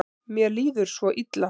Mér líður svo illa.